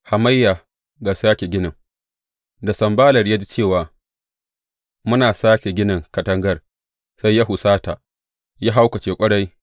Hamayya ga sāke ginin Da Sanballat ya ji cewa muna sāke ginin katangar, sai ya husata, ya haukace ƙwarai.